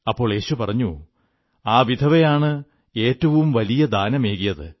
അപ്പോൾ യേശു പറഞ്ഞു ആ വിധവയാണ് ഏറ്റവും വലിയ ദാനമേകിയത്